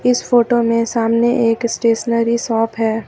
इस फोटो में सामने एक स्टेशनरी शॉप है।